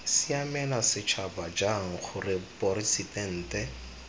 siamela setšhaba jang gore poresitente